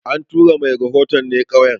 An tura mai rahoton ne ƙauyen